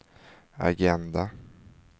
agenda